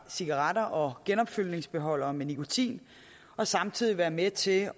cigaretter og genopfyldningsbeholdere med nikotin og samtidig være med til